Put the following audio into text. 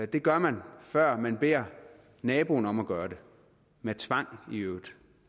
det gør man før man beder naboen om at gøre det med tvang i øvrigt